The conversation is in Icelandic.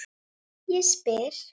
Ég spyr.